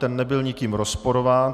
Ten nebyl nikým rozporován.